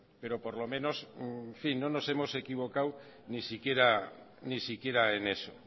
pero por lo menos no nos hemos equivocado ni siquiera en eso